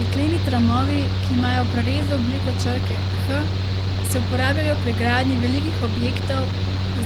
Jekleni tramovi, ki imajo v prerezu obliko črke H, se uporabljajo pri gradnji velikih objektov,